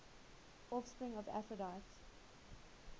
offspring of aphrodite